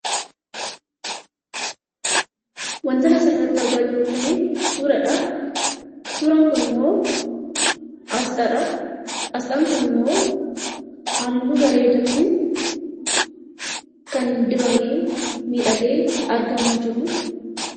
Wanti asirratti argaa jiru kun suuraadha. Suuraan kunimmoo asxaadha. Asxaan kunimmoo halluu bareedaatiin kan dibamee miidhagee argamaa jirudha.